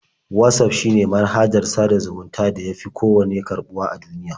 Watsaf shine manhajar sada zumuntar da ya fi kowanne karɓuwa a duniya.